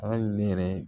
Hali ne yɛrɛ